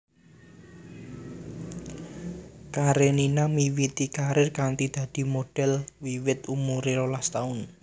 Karenina miwiti karir kanthi dadi modhèl wiwit umuré rolas taun